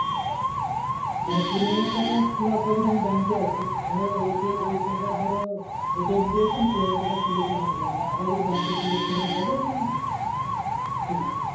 মানে কুড়ি হাজার টাকা তোলার পর যদি আমি bank এ আসি ধরো ওই ধরো ATM দিয়ে কুড়ি হাজার টাকা থেকে নিয়ে আবার যদি bank এ তুলতে আসি সেখানে হবে না কি?